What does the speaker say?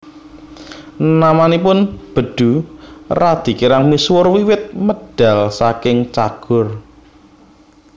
Namanipun Bedu radi kirang misuwur wiwit medal saking Cagur